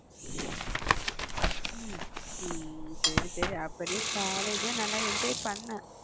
உம் சரி சரி அப்ப நீ காலேஜை நல்லா enjoy பண்ணே